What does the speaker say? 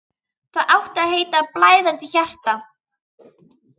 Það átti að heita: Blæðandi hjarta.